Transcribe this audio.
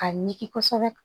A ɲigin kosɛbɛ